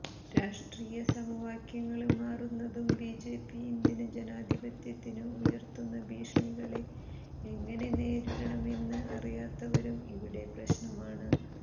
രാഷ്ട്രീയ സമവാക്യങ്ങള് മാറുന്നതും ബിജെപി ഇന്ത്യന് ജനാധിപത്യത്തിന് ഉയര്ത്തുന്ന ഭീഷണികളെ എങ്ങനെ നേരിടണമെന്ന് അറിയാത്തതും ഇവിടെ പ്രശ്നമാണ്